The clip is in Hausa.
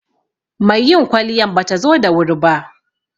Mai yin kwaliyan batazo da wuri ba